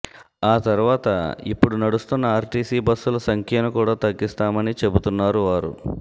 ఆ తర్వాత ఇపుడు నడుస్తున్న ఆర్టీసీ బస్సుల సంఖ్యను కూడా తగ్గిస్తామని చెబుతున్నారు వారు